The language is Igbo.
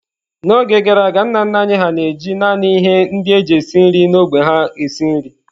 N’oge gara aga, nna nna anyị hà na-eji naanị ihe ndị e ji esi nri n’ógbè ha esi nri.